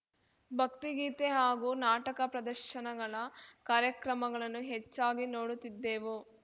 ಭಕ್ತಿಗೀತೆ ಹಾಗೂ ನಾಟಕ ಪ್ರದರ್ಶನಗಳ ಕಾರ್ಯಕ್ರಮಗಳನ್ನು ಹೆಚ್ಚಾಗಿ ನೋಡುತ್ತಿದ್ದೆವು